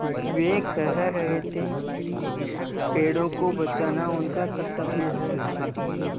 वे कह रहे थे कि पेड़ों को बचाना उनका कर्त्तव्य है